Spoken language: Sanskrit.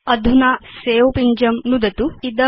अधुना सवे पिञ्जं नुदतु